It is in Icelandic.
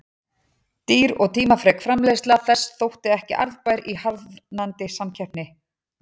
Dýr og tímafrek framleiðsla þess þótti ekki arðbær í harðnandi samkeppni.